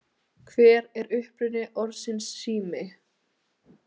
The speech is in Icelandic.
Hver er uppruni orðsins sími?